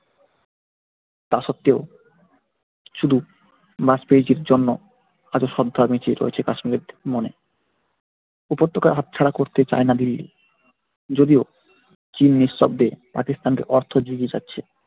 তা সত্ত্বেও শুধু জন্য আজও সঙ্কা বেঁচে রয়েছে কাশ্মীরের মনে উপত্যকা হাতছাড়া করতে চায়না দিল্লী যদিও চীন নিঃশব্দে অর্থযোগ যুগিয়ে যাচ্ছে পাকিস্তানকে।